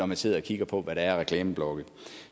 man sidder og kigger på hvad der er af reklameblokke